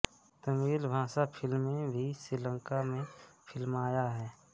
तमिल भाषा फिल्में भी श्रीलंका में फिल्माया है